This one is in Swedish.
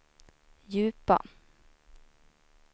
djupa